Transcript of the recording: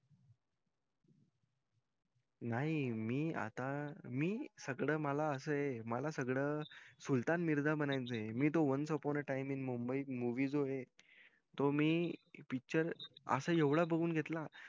नाही मी आता मी सगळं मला असं ये मला सगळं सुलतान मिरझा बनायचंय मी तो ones upon a time in mumbai movie तो जो ये तो मी picture असा येवडा बगून घेतला